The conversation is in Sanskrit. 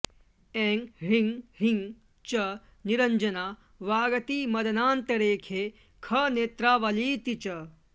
ऐं ह्रीं ह्रीं च निरञ्जना वागति मदनान्तरेखे खनेत्रावलीति च